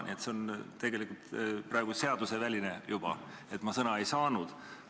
Nii et see on juba seaduserikkumine, et ma kohe sõna ei saanud.